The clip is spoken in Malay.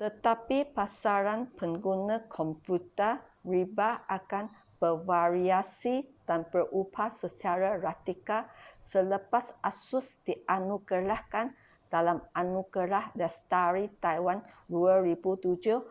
tetapi pasaran pengguna komputer riba akan bervariasi dan berubah secara radikal selepas asus dianugerahkan dalam anugerah lestari taiwan 2007